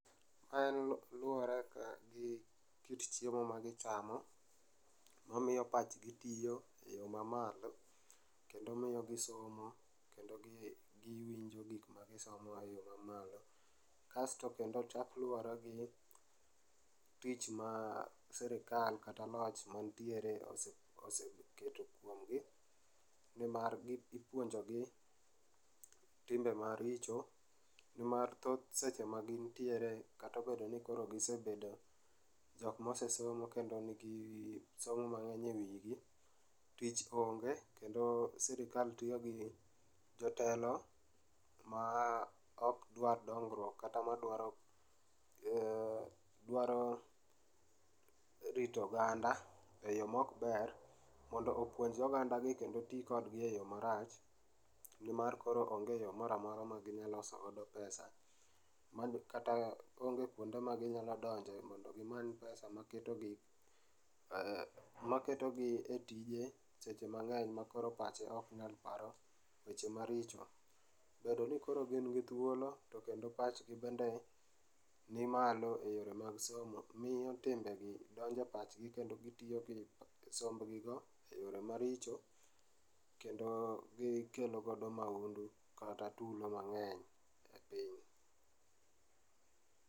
En luore ka gi kit chiemo ma gichamo mamiyo pachgi tiyo e yoo mamalo kendo miyo gisomo kendo giwinjo gikma gisomo e yoo mamalo. Kasto kendo chak luore gi tich ma sirkal kata loch mantiere oseketo kuom gi nimar ipuonjogi timbe maricho nimar thoth seche ma gintiere kata obedo ni koro gisebedo jokma osesomo kendo gin gi somo mang'eny e wigi, tich onge kendo sirikal tiyo gi jotelo ma okdwar dongruok kata madwaro, dwaro rito oganda e yoo maok ber mondo opuonj oganda gi kendo tii kodgi e yoo marach nimar koro onge yoo moro amora ma ginyalo loso go pesa. Kata onge kuonde ma ginyalo donjo mondo gimany pesa maketo gi, maketo gi e tije sech emang'eny ma koro pachgi ok nyal paro weche maricho. Bedo ni koro gin gi thuolo to pachgi bende ni maloe yore mag somo miiyo timbegi donjo e pachgi kendo gitiyo gi sombgi go e yore maricho kendo gikelo go maundu kata tulo mang'eny e piny